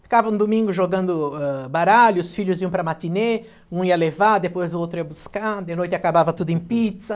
Ficava no domingo jogando, ãh, baralho, os filhos iam para a matinê, um ia levar, depois o outro ia buscar, de noite acabava tudo em pizza.